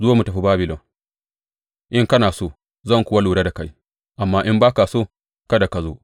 Zo mu tafi Babilon, in kana so, zan kuwa lura da kai; amma in ba ka so, kada ka zo.